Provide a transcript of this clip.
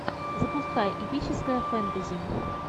запускай эпическое фэнтези